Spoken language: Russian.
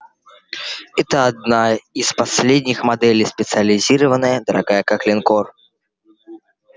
это одна из последних моделей специализированная дорогая как линкор